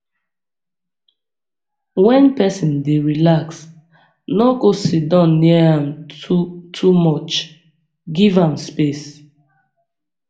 wen pesin dey relax no go siddon near am too too much give am space